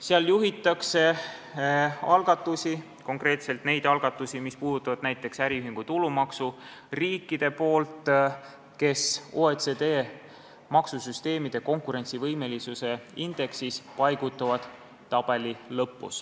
Seal juhivad konkreetselt neid algatusi, mis puudutavad näiteks äriühingu tulumaksu, riigid, kes OECD maksusüsteemide konkurentsivõimelisuse indeksis paigutuvad tabeli lõppu.